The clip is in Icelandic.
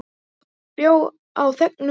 Einnig þjó á þegnum ver.